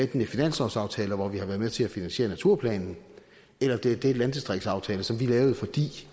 det er finanslovsaftaler hvor vi har været med til at finansiere naturplanen eller det er den landdistriktsaftale som vi lavede fordi